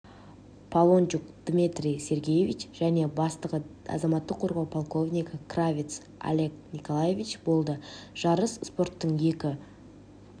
полончук дмитрий сергеевич және бастығы азаматтық қорғау полковнигі кравец олег николаевич болды жарыс спорттың екі